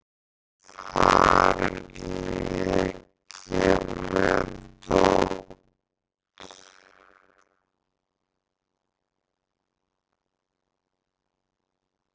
Þar leik ég með dót.